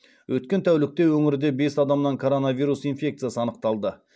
өткен тәулікте өңірде бес адамнан коронавирус инфекциясы анықталды